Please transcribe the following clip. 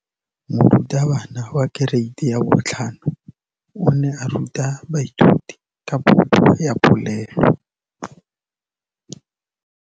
Moratabana wa kereiti ya 5 o ne a ruta baithuti ka popô ya polelô.